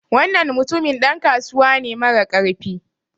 Wannan mutumin dan kasuwa ne marakarfi